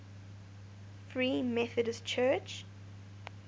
free methodist church